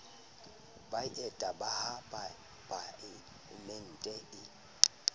ba eta ha palaemente e